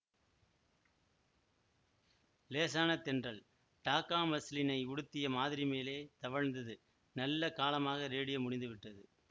லேசான தென்றல் டாக்கா மஸ்லினை உடுத்திய மாதிரி மேலே தவழ்ந்தது நல்ல காலமாக ரேடியோ முடிந்துவிட்டது